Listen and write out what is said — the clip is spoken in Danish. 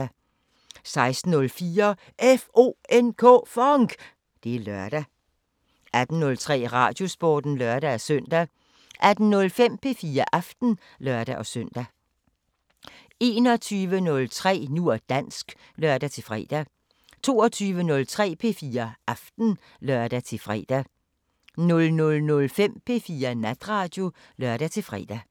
16:04: FONK! Det er lørdag 18:03: Radiosporten (lør-søn) 18:05: P4 Aften (lør-søn) 21:03: Nu og dansk (lør-fre) 22:03: P4 Aften (lør-fre) 00:05: P4 Natradio (lør-fre)